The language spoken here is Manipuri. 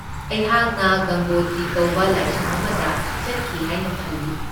ꯑꯩꯍꯥꯛꯅ ꯒꯪꯒꯣꯇ꯭ꯔꯤ ꯀꯧꯕ ꯂꯥꯏꯁꯪ ꯑꯃꯗ ꯆꯠꯈꯤ ꯍꯥꯏꯅ ꯈꯜꯂꯤ꯫